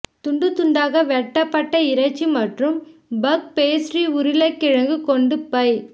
துண்டு துண்தாக வெட்டப்பட்ட இறைச்சி மற்றும் பஃப் பேஸ்ட்ரி உருளைக்கிழங்கு கொண்டு பை